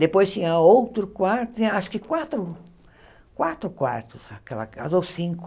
Depois tinha outro quarto, tinha acho que quatro, quatro quartos aquela casa, ou cinco.